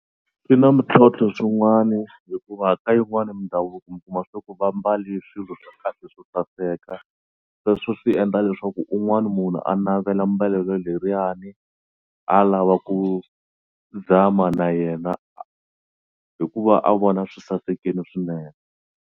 Swi na mintlhontlho swin'wani hikuva ka yin'wani mindhavuko mi kuma swa ku va mbale swilo swa kahle swo saseka sweswo swi endla leswaku un'wani munhu a navela mbelelo leriwani a lava ku zama na yena hikuva a vona swi sasekini swinene.